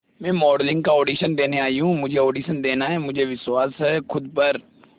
मैं मॉडलिंग का ऑडिशन देने आई हूं मुझे ऑडिशन देना है मुझे विश्वास है खुद पर